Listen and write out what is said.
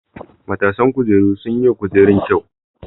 Matasan kujeru sun yi wa kujerun kyau.